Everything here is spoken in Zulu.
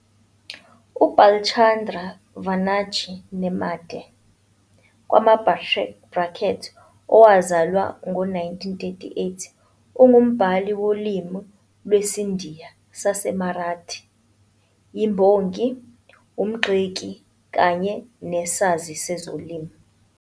UBhalchandra Vanaji Nemade kuma-brackets owazalwa ngo-1938 ungumbhali wolimi lwesiNdiya saseMarathi, imbongi, umgxeki kanye nesazi sezolimi.